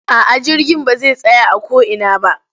A'a jirgin ba zai tsaya a ko ina ba.